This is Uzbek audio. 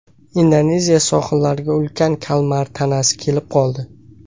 Indoneziya sohillariga ulkan kalmar tanasi kelib qoldi.